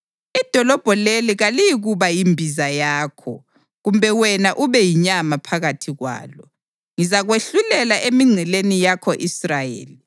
Idolobho leli kaliyikuba yimbiza yakho, kumbe wena ube yinyama phakathi kwalo; ngizakwahlulela emingceleni yako-Israyeli.